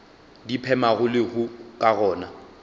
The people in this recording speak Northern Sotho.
di phemago lehu ka gona